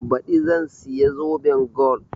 Baɗi zan siya zoben gol